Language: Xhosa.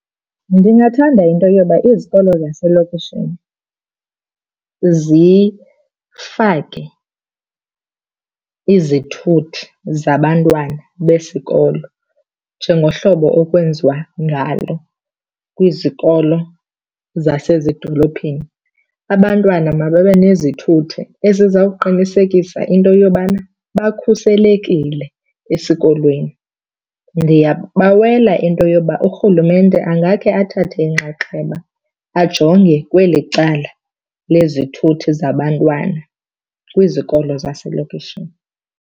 Ndingathanda into yoba izikolo zaselokishini zifake izithuthi zabantwana besikolo njengohlobo okwenziwa ngalo kwizikolo zasezidolophini. Abantwana mababe nezithuthi ezizawuqinisekisa into yobana bakhuselekile esikolweni. Ndiyabawela into yoba urhulumente angake athathe inxaxheba ajonge kweli cala lezithuthi zabantwana kwizikolo zaselokishini.